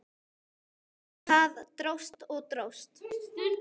En það dróst og dróst.